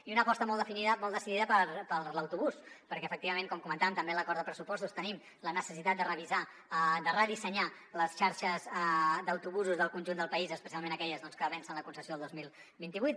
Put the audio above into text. i una aposta molt definida molt decidida per l’autobús perquè efectivament com comentàvem també en l’acord de pressupostos tenim la necessitat de revisar de redissenyar les xarxes d’autobusos del conjunt del país especialment aquelles que vencen la concessió el dos mil vint vuit